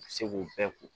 Ka se k'o bɛɛ ko